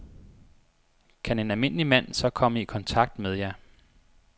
Kan en almindelig mand så komme i kontakt med jer?